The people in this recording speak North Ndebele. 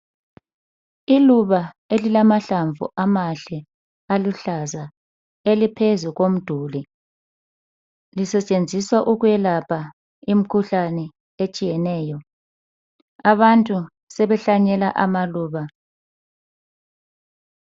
Iluba elilamahlamvu amahle aluhlaza eliphezu komduli lisetshenziswa ukwelapha imikhuhlane etshiyeneyo. Abantu sebehlanyela amaluba.